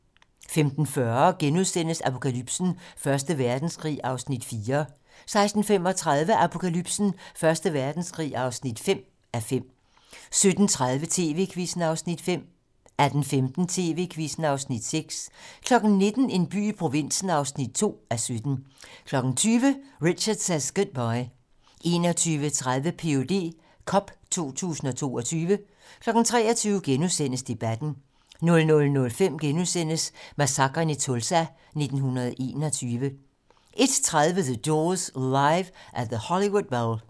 15:40: Apokalypsen: Første Verdenskrig (4:5)* 16:35: Apokalypsen: Første Verdenskrig (5:5) 17:30: TV-Quizzen (Afs. 5) 18:15: TV-Quizzen (Afs. 6) 19:00: En by i provinsen (2:17) 20:00: Richard Says Goodbye 21:30: Ph.d. cup 2022 23:00: Debatten * 00:05: Massakren i Tulsa 1921 * 01:30: The Doors - Live at the Hollywood Bowl